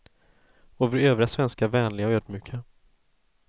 Och vi övriga svenskar vänliga och ödmjuka.